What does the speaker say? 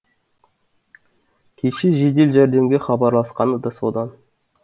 кеше жедел жәрдемге хабарласқаны да содан